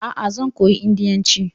Aa, zan koyi indiyanci